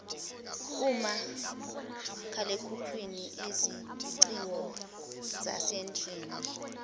omakhalekhukhwini izingcingo zasendlini